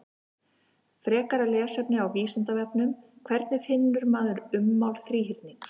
Frekara lesefni á Vísindavefnum: Hvernig finnur maður ummál þríhyrnings?